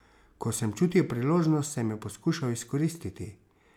Ko sem čutil priložnost, sem jo poskušal izkoristiti.